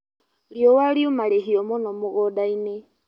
Riũa riuma rĩhiũ mũno mũgũndainĩ.